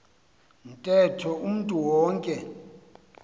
ntetho umntu wonke